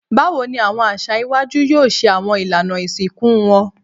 Bawo ni awọn aṣa iwaju yoo ṣe awọn ilana isinku wọn?